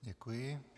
Děkuji.